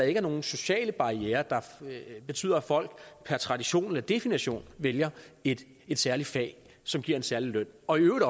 ikke er nogen sociale barrierer der betyder at folk per tradition eller definition vælger et særligt fag som giver en særlig løn og i øvrigt